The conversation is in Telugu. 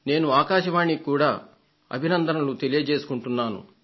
నేను ఆకాశవాణికి కూడా అభినందనలు తెలియజేసుకుంటున్నాను